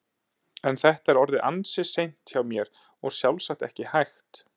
En þetta er orðið ansi seint hjá mér og sjálfsagt ekki hægt.